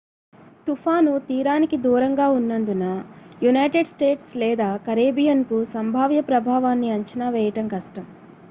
తుఫాను తీరానికి దూరంగా ఉన్నందున యునైటెడ్ స్టేట్స్ లేదా కరేబియన్కు సంభావ్య ప్రభావాన్ని అంచనా వేయడం కష్టం